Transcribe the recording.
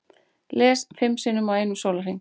Lést fimm sinnum á einum sólarhring